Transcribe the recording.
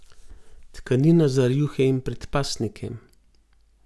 Tkanina za rjuhe in predpasnike.